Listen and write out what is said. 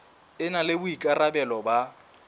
e na le boikarabelo ba